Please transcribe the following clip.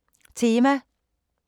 Tema